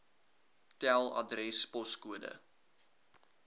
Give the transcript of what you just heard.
tel adres poskode